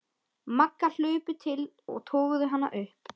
Magga hlupu til og toguðu hana upp.